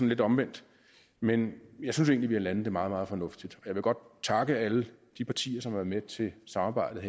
lidt omvendt men jeg synes egentlig at landet det meget meget fornuftigt jeg vil godt takke alle de partier som har været med til samarbejdet